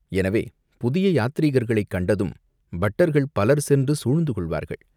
எனவே, புதிய யாத்ரீகர்களைக் கண்டதும் பட்டர்கள் பலர் சென்று சூழ்ந்து கொள்வார்கள்.